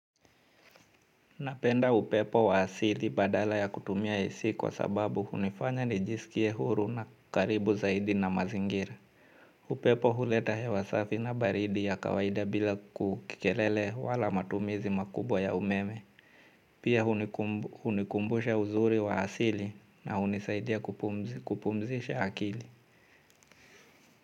Napenda upepo wa asili badala ya kutumia AC kwa sababu hunifanya nijisikie huru na karibu zaidi na mazingira. Upepo huleta hewa safi na baridi ya kawaida bila kelele wala matumizi makubwa ya umeme. Pia hunikumbusha uzuri wa asili na hunisaidia kupumzisha akili.